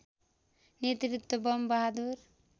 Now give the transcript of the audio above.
नेतृत्व बम बहादुर